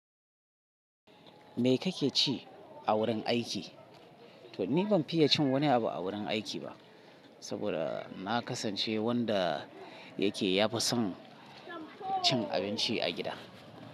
Me kake ci a wurin aiki? To ni ban fiye cin wani abu a wurin aiki ba saboda na kasance wanda yake ya fi son cin abinci a gida.